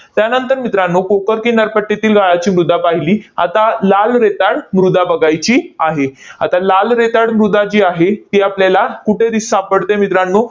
त्यानंतर मित्रांनो, कोकण किनारपट्टीतील गाळाची मृदा पाहिली. आता लाल रेताड मृदा बघायची आहे. आता लाल रेताड मृदा जी आहे ती आपल्याला कुठे दि सापडते मित्रांनो?